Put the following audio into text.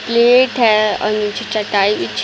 plate है और नीचे चटाई बिछी --